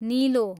निलो